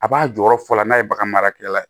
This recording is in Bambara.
A b'a jɔyɔrɔ fɔlɔ la n'a ye bagan marakɛla ye